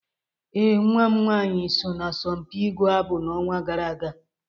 ee, nwa m nwanyị sonye n'asọmpi ịgụ abụ n'ọnwa gara aga